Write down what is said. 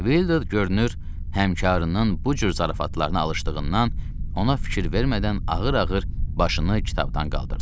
Vildur, görünür, həmkarının bu cür zarafatlarına alışdığından ona fikir vermədən ağır-ağır başını kitabdan qaldırdı.